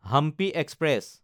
Hampi express